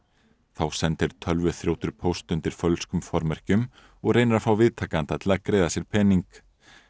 þá sendir póst undir fölskum formerkjum og reynir að fá viðtakanda til að greiða sér pening